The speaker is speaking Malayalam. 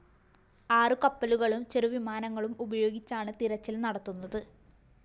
ആറ് കപ്പലുകളും ചെറുവിമാനങ്ങളും ഉപയോഗിച്ചാണ് തിരച്ചില്‍ നടത്തുന്നത്